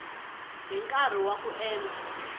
hi nkarhi wa ku endla